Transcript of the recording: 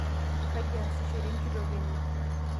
kaji eesishore enkitok enye?